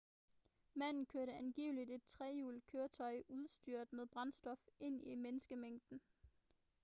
manden kørte angiveligt et trehjulet køretøj udstyret med sprængstof ind i en menneskemængde